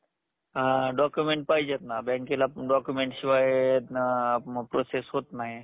document पाहिजेत ना बँकेला document शिवाय process होत नाही.